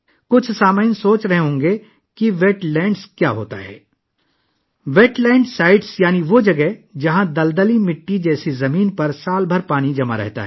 کچھ سامعین سوچ رہے ہوں گے کہ گیلی زمینیں کیا ہیں؟ 'ویٹ لینڈ سائٹس' سے مراد وہ جگہیں ہیں جہاں دلدلی مٹی جیسی زمین پر سال بھر پانی جمع رہتا ہے